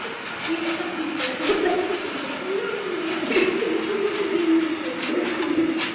হা হা হা তখন না মনে হয় মুখের মধ্যে দিয়েদেয় table টা ছুড়ে